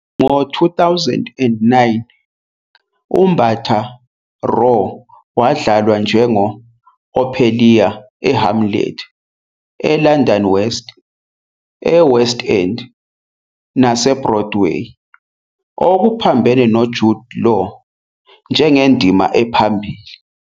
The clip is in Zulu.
Ngo-2009, uMbatha-Raw wadlalwa "njengo-Ophelia eHamlet" eLondon eWest End naseBroadway, okuphambene noJud Law njengendima ephambili